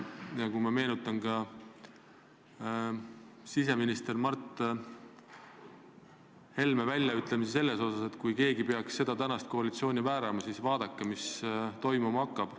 Ma meenutan siseminister Mart Helme sõnu, et kui keegi peaks püüdma praegust koalitsiooni väärata, siis vaadake, mis toimuma hakkab.